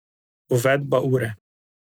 Uvedba ure.